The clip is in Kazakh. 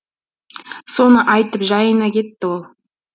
соны айтып жайына кетті ол